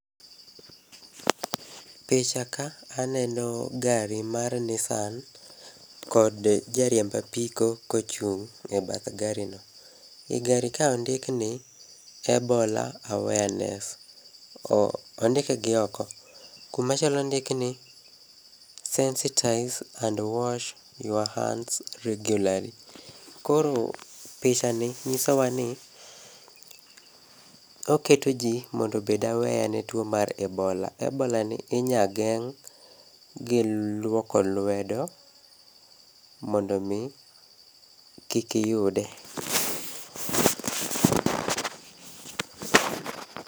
Picha ka aneno gari mar Nissan, kod jariemb apiko kochung' ebacth gari no. I gari ka ondik ni Ebola awareness, ondike gioko. Kumachielo ondik ni sensitize and wash your hands regularly. Koro picha ni nyisowa ni oketoji mondo obed aware ne tuo mar Ebola. Ebolani inyageng' gi luoko lwedo mondomi kikiyude.